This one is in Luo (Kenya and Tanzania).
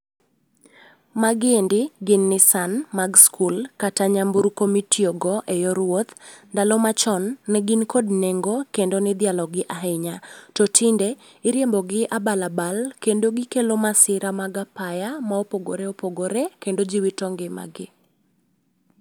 Magiendi gin Nissan mag skul kata nyamburko mitiyogo eyor wuoth. Ndalo machon ,ne gin kod nengo kendo ne idhialogi ahinya. To tinde iriembogi abal abal kendo gikelo masira mag apaya mopogore opogore kendo ji wito ngimagi.